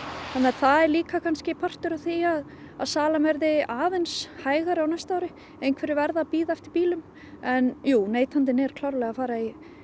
það er líka kannski partur af því að að salan verði aðeins hægari á næsta ári einhverjir verða að bíða eftir bílum en jú neytandinn er klárlega að fara í